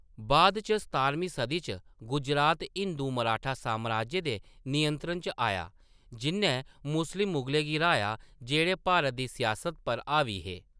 बाद इच सतारमीं सदी च, गुजरात हिंदू मराठा साम्राज्य दे नियंत्रण च आया, जिʼन्नै मुस्लिम मुगलें गी हराया जेह्‌‌ड़े भारत दी सियासत पर हावी हे।